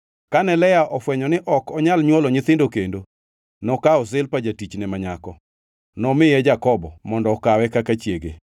Kane Lea ofwenyo ni ok onyal nywolo nyithindo kendo nokawo Zilpa jatichne ma nyako, nomiye Jakobo mondo okawe kaka chiege.